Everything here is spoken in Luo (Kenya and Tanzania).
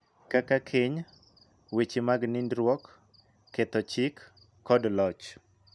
Kaka keny, weche mag nindruok, ketho chik, kod loch.